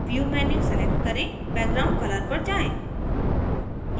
view menu select करें background color पर जाएँ